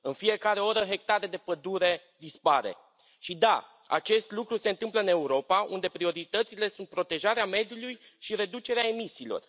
În fiecare oră hectare de pădure dispar și da, acest lucru se întâmplă în Europa, unde prioritățile sunt protejarea mediului și reducerea emisiilor.